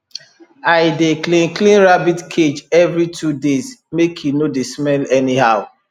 i dey clean clean rabbit cage every two days make e no dey smell anyhow